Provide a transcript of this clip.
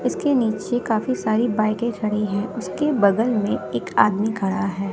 इसके नीचे काफी सारी बाइक खड़ी है उसके बगल में एक आदमी खड़ा है।